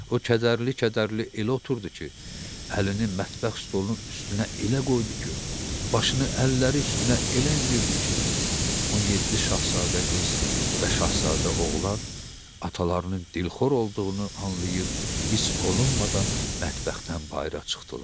O kədərli-kədərli elə oturdu ki, əlini mətbəx stolunun üstünə elə qoydu ki, başını əlləri üstünə elə endirdi ki, 17 Şahzadə qız və Şahzadə oğlan atalarının dilxor olduğunu anlayıb, hiss olunmadan mətbəxdən bayıra çıxdılar.